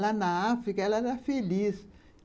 Lá na África, ela era feliz.